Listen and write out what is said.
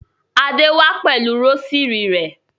Adé wá pẹ̀lú rósírì rẹ̀.